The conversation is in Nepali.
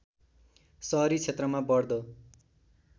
सहरी क्षेत्रमा बढ्दो